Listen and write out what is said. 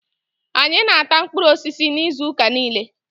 Anyị na-ata mkpụrụ osisi n'izuuka niile.